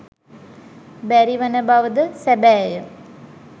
බැරි වන බව ද සැබෑය.